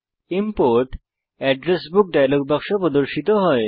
import address book dialog বাক্স প্রদর্শিত হয়